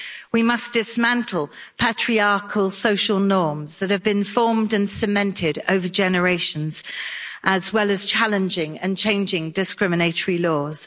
We must dismantle patriarchal social norms that have been formed and cemented over generations, as well as challenging and changing discriminatory laws.